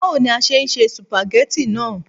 Báwo ni a ṣe se sùpàgẹ́tì náà